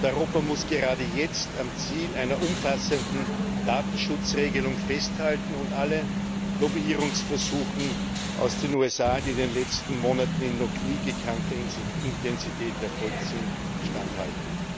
Und Europa muss gerade jetzt am Ziel einer umfassenden Datenschutzregelung festhalten und allen Lobbyierungsversuchen aus den USA, die in den letzten Monaten in noch nie gekannter Intensität erfolgt sind, standhalten!